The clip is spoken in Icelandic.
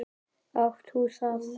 Átt þú það?